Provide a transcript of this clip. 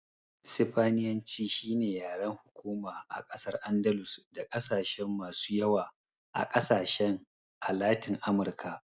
Sifaniyanci shine yaren hukuma a ƙasar Andalus da ƙasashen masu yawa a ƙasashen a Latin Amurka.